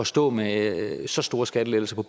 stå med så store skattelettelser